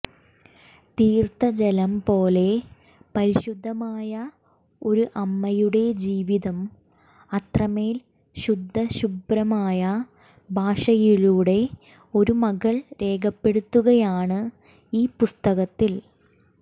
തീർത്ഥജലം പോലെ പരിശുദ്ധമായ ഒരു അമ്മയുടെ ജീവിതം അത്രമേൽ ശുദ്ധശുഭ്രമായ ഭാഷയിലൂടെ ഒരു മകൾ രേഖപ്പെടുത്തുകയാണ് ഈ പുസ്തകത്തിൽ